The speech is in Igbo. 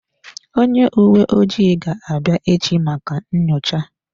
Onye uwe ojii ga-abịa echi maka nyocha.